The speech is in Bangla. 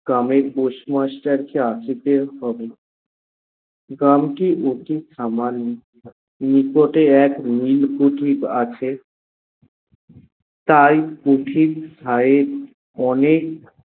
গ্রামের postmaster কে আসিতে হবে। গ্রামটি অতি সামান্য, নিকটে এক নীল কুঠির আছে, তাই কুঠির গায়ে অনেক